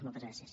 moltes gràcies